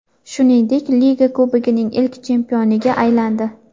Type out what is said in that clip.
Shuningdek, Liga Kubogining ilk chempioniga aylandi.